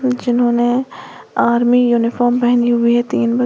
जिन्होंने army uniform पहनी हुई हैं तीन बच--